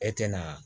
E tɛna